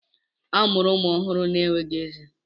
A mụrụ ụmụ ọhụrụ na-enweghị ezé.